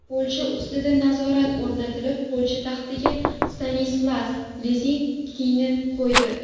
Polsha ustidan nazorat o‘rnatilib, Polsha taxtiga Stanislas Lezinskiyni qo‘ydi.